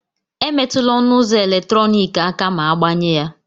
Emetụla ọnụ ụzọ eletrọnịkị aka ma agbanye ya